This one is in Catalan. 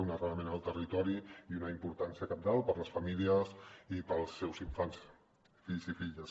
un arrelament en el territori i una importància cabdal per a les famílies i per als seus infants fills i filles